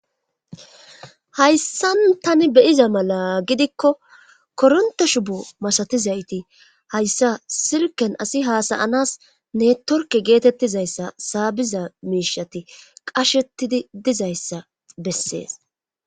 Hayssa tani beyiza mala gidikko koronta shubu masatizayti hayssa silken asi haasayanas ne torke geetettizayssa saabiza miishati qashetidi dizayssa bessees.